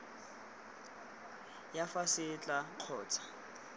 ya fa se tla kgontsha